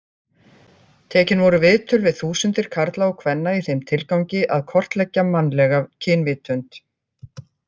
Tekin voru viðtöl við þúsundir karla og kvenna í þeim tilgangi að kortleggja mannlega kynvitund.